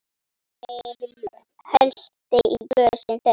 Emil hellti í glösin þeirra.